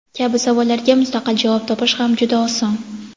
kabi savollarga mustaqil javob topish ham juda oson.